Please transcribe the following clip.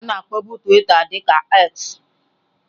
A na-akpọbu twitter dị ka X.